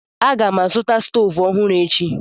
Aga m azụta stovu ọhụrụ echi.